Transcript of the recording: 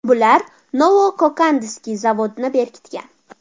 Bular Novo-Kokandskiy zavodni berkitgan.